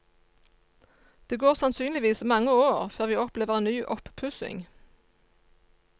Det går sannsynligvis mange år før vi opplever en ny oppussing.